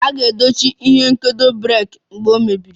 A ga-edochi ihe nkedo breeki mgbe a na-eyi ya